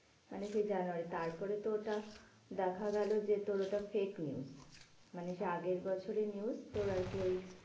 মানে সেই জানুয়ারী তারপরে তো ওটা দেখা গেলো যে তোর ওটা fake news. মানে সেই আগের বছরের news তোর আরকি ওই